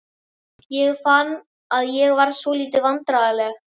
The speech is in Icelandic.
Ég fann að ég varð svolítið vandræðaleg.